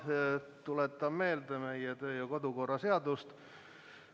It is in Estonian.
Ma tuletan meelde meie kodu- ja töökorra seadust.